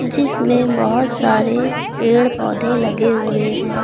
जिसमें बहोत सारे पेड़ पौधे लगे हुए हैं।